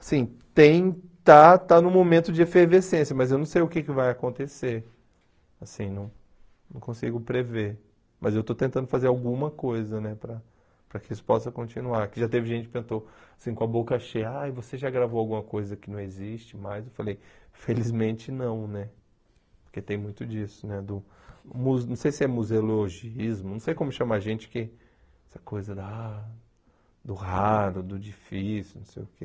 assim, tem, está, está num momento de efervescência, mas eu não sei o que que vai acontecer, assim, não consigo prever, mas eu estou tentando fazer alguma coisa, né, para que isso possa continuar, que já teve gente que tentou, assim, com a boca cheia, ah, você já gravou alguma coisa que não existe mais, eu falei, felizmente não, né, porque tem muito disso, né, do, mu não sei se é museologismo, não sei como chama a gente que, essa coisa da, do raro, do difícil, não sei o que,